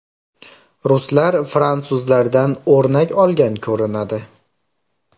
Ruslar fransuzlardan o‘rnak olgan ko‘rinadi.